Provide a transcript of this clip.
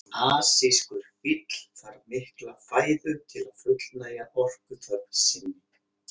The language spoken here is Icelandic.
Asískur fíll þarf mikla fæðu til að fullnægja orkuþörf sinni.